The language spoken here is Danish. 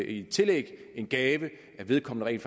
i tillæg den gave at vedkommende rent